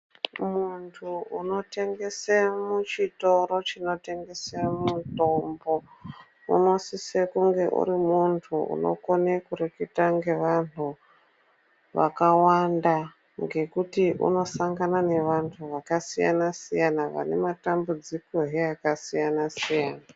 Muntu unotengese muchitoro chinotengese mutombo unosise kunge urimuntu unogone kurikite ngevantu vakawanda ngekuti unosangana nevantu zvakasiyana-siyana vane matambudzikowo akasiyana-siyana.